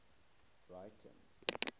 breyten